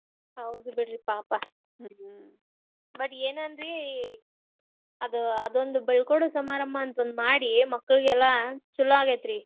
ಹೌದ್ ಬಿಡ್ರಿ ಪಾಪ ಓಟ್ ಏನ ಅನ್ರಿ ಅದ್ ಅದೊಂದ್ ಬಿಳ್ಕೊಡು ಸಮಾರಂಭ ಮಾಡಿ ಮಕ್ಕಳಿಗೆಲ್ಲಾ ಚುಲೊ ಆಗೇತ್ರಿ.